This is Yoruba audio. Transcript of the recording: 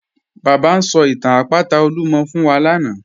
Baba n sọ̀ itàn àpátà Olúmọ̀ fún wa lánà.